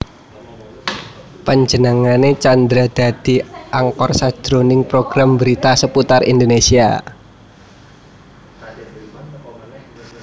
Panjenengané Tjandra dadi anchor sajroning program brita Seputar Indonésia